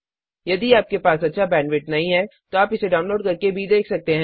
यदि आपके पास अच्छा बैंडविड्थ नहीं है तो आप इसे डाउनलोड करके देख सकते हैं